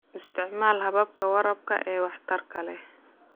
Isticmaal hababka waraabka ee waxtarka leh.